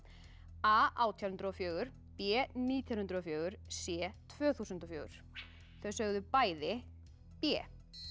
a átján hundruð og fjögur b nítján hundruð og fjögur c tvö þúsund og fjögur þau sögðu bæði b